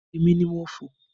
Èmi ni mo fò.